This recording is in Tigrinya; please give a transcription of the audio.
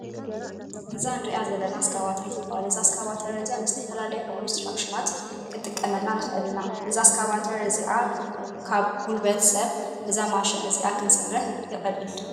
እዛ እንሪኣ ዘለና እስካባተር ትባሃል። እዛ እስካባተር እዚኣ ንዝተፈላለዩ ኮንስትራክሽናት ክንጥቀመላ ንክእል ኢና። እዛ እስካባተር እዚኣ ካብ ብጉልበት ሰብ በዛ ማሽን እዚኣ ክንሰርሕ ቀልል።